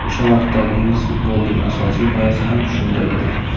O‘sha vaqtdagi ingliz futbolining asosiy g‘oyasi ham shunda edi.